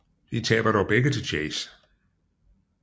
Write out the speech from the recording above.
De taber dog begge til Chase